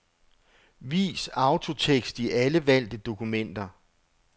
Vis autotekst i alle valgte dokumenter.